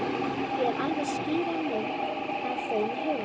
Ég hef alveg skýra mynd af þeim í huganum.